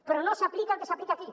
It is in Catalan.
però no s’aplica el que s’aplica aquí